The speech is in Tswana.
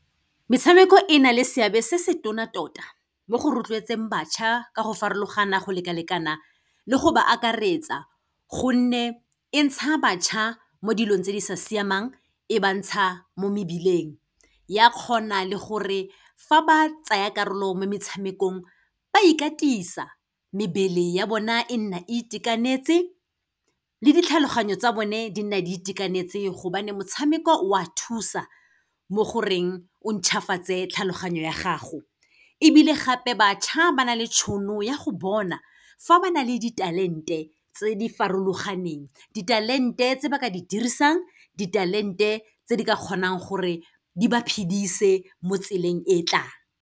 Metshameko e na le seabe se se tona tota mo go rotloetseng bašwa ka go farologana, go lekalekana le go ba akaretsa, gonne e ntsha bašwa mo dilong tse di sa siamang, e ba ntsha mo mebileng. Ya kgona le gore fa ba tsaya karolo mo metshamekong, ba ikatisa, mebele ya bona e nna itekanetse le ditlhaloganyo tsa bone di nna di itekanetse, gobane motshameko o a thusa, mo goreng o ntšhwafatse tlhaloganyo ya gago. Ebile gape, bašwa ba na le tšhono ya go bona fa ba na le di-talent-e tse di farologaneng. Di-talent-e tse ba ka di dirisang, di-talent-e tse di ka kgonang gore di ba phedise mo tseleng e tlang.